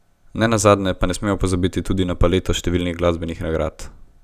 Nenazadnje pa ne smemo pozabiti tudi na paleto številnih glasbenih nagrad.